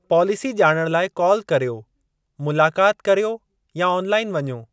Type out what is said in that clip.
Policy जा॒णण लाइ call करियो, मुलाक़ाति करियो या ऑनलाइन वञो।